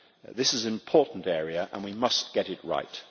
This is an important area and we must get it right.